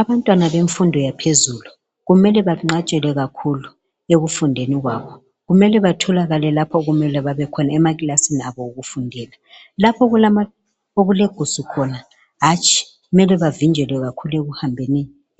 Abantwana bemfundo yaphezulu kumele benqatshelwe kakhulu ekufundeni kwabo kumele betholekale beseclassini abo okufundela lapho okulegusu khona hatshi mele bevinjelwe kakhulu ukuhamba